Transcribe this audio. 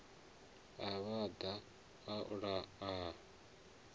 a vhaḓa a ola a